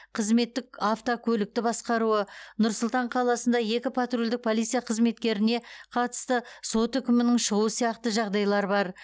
қызметтік автокөлікті басқаруы нұр сұлтан қаласында екі патрульдік полиция қызметкеріне қатысты сот үкімінің шығуы сияқты жағдайлар бар